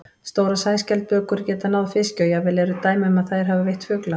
Stórar sæskjaldbökur geta náð fiski og jafnvel eru dæmi um að þær hafi veitt fugla.